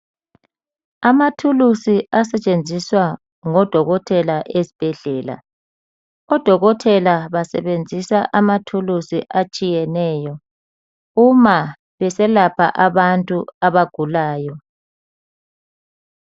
Amathulusi asetshenziswa ngoDokotela eSbhedlela , oDokotela basebenzisa amathuluzi atshiyeneyo uma beselapha abantu abagulayo.